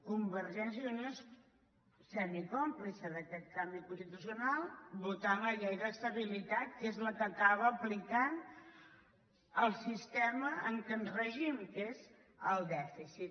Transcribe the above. convergència i unió és semicòmplice d’aquest canvi constitucional votant la llei d’estabilitat que és la que acaba aplicant el sistema amb què ens regim que és el dèficit